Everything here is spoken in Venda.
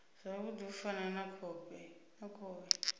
zwavhudi u fana na khovhe